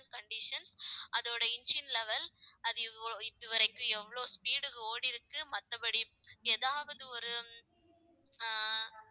condition அதோட engine level அது இவ்~ இதுவரைக்கும், எவ்வளவு speed க்கு ஓடிருக்கு மத்தபடி ஏதாவது ஒரு ஆஹ்